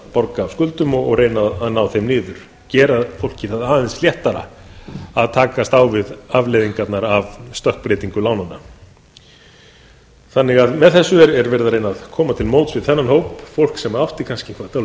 borga af skuldum og reyna að ná þeim niður gera fólki það aðeins léttara að takast á við afleiðingarnar af stökkbreytingu lánanna með þessu er reynt að koma til móts við þennan hóp fólk sem átti kannski